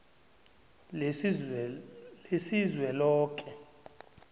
lesizweloke